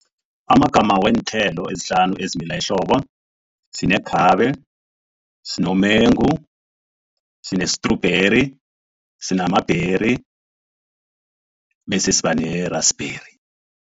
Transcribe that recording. Amagama weenthelo ezihlanu ezimila ehlobo, sinekhabe, sinomengu, sine-strawberry, sinama-berry bese siba ne-raspberry.